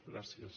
gràcies